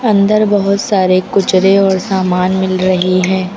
अंदर बहुत सारे कुचरे और सामान मिल रही हैं।